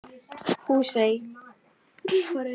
Húsey